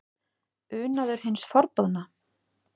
Unaður hins forboðna?